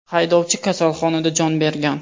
Haydovchi kasalxonada jon bergan.